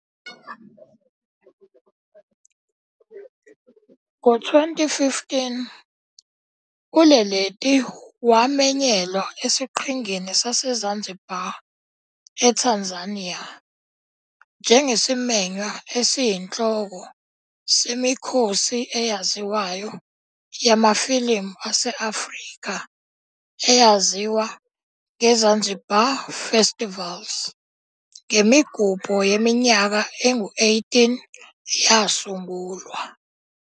Ngo-2015 uLeleti wamenyelwa esiQhingini saseZanzibar, eTanzania, njengesimenywa esiyinhloko semikhosi eyaziwayo yamafilimu ase-Afrika eyaziwa ngeZanzibar Festivals, ngemigubho yeminyaka engu-18 yasungulwa.